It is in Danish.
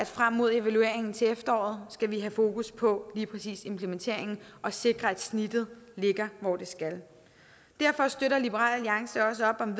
frem mod evalueringen til efteråret skal have fokus på lige præcis implementeringen og sikre at snittet ligger hvor det skal derfor støtter liberal alliance også op om